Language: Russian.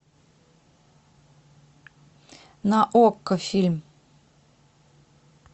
на окко фильм